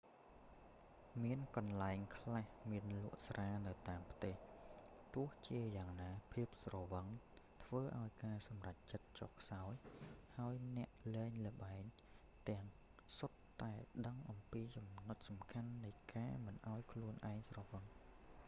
មានកន្លែងខ្លះមានលក់ស្រានៅតាមផ្ទះ ទោះជាយ៉ាងណា ភាពស្រវឹងធ្វើឱ្យការសម្រេចចិត្តចុះខ្សោយ ហើយអ្នកលេងល្បែងទាំងសុទ្ធតែដឹងអំពីចំណុចសំខាន់នៃការមិនឱ្យខ្លួនឯងស្រវឹង